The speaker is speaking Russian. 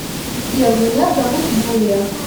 сбер меня зовут юлия